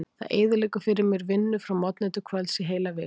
Það eyðileggur fyrir mér vinnu frá morgni til kvölds í heila viku.